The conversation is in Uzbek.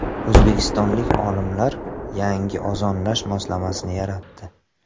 O‘zbekistonlik olimlar yangi ozonlash moslamasi yaratdi.